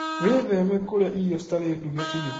Witheme kũrĩa irio citarĩ nduge biũ.